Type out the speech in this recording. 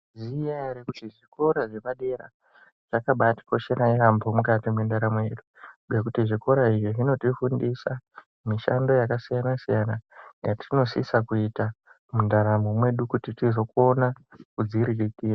Munozviziva here kuti zvikora zvepadera zvakabatikoshera yambo mukati mwendaramo yedu ngekuti zvikora izvi zvinofundisa mishando yakasiyana-siyana yatinosisa kuita Mundaramo yedu kuti tizokona kuzviriritira.